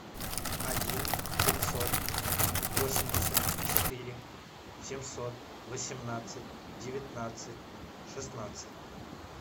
один пятьсот восемьдесят четыре семьсот восемнадцать девятнадцать шестнадцать